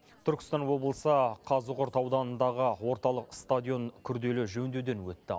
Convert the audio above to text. түркістан облысы қазығұрт ауданындағы орталық стадион күрделі жөндеуден өтті